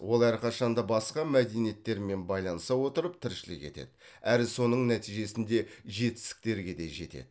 ол әрқашанда басқа мәдениеттермен байланыса отырып тіршілік етеді әрі соның нәтижесінде жетістіктерге де жетеді